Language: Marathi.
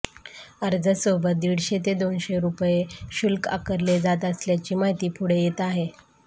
अर्जासोबत दीडशे ते दोनशे रुपये शुल्क आकारले जात असल्याची माहिती पुढे येत आहे